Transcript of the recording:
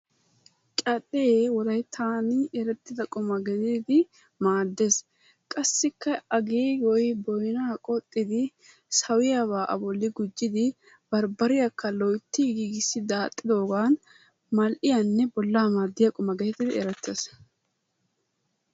Cadhdhe wolayttan erettida quma gididi maaddees. Qassikka a giigoy boynna qoxxidi sawiyaaba a bolli gujjidi barbbariyakka loytti giigissi daaxxidooga mal''iyanne bolla maaddiya quma getettidi erettees.